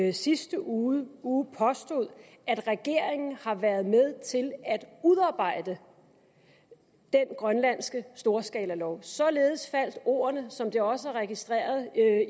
i sidste uge uge påstod at regeringen har været med til at udarbejde den grønlandske storskalalov således faldt ordene som det også er registreret